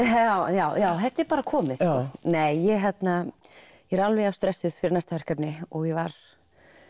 já já þetta er bara komið nei ég er alveg jafn stressuð fyrir næsta verkefni og ég var